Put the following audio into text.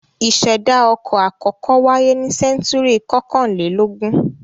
Ìṣẹ̀dá ọkọ̀ àkọ́kọ́ wáyé ní sẹ́ńtúrì kọkànlélógún.